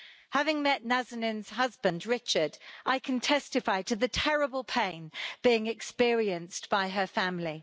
Having met Nazanin's husband, Richard, I can testify to the terrible pain being experienced by her family.